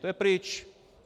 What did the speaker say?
To je pryč.